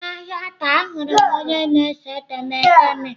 N'ahịa taa ahụrụ m onye na-ese etemeete m.